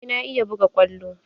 Eh na iya buga kwallo?